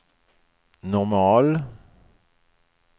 normal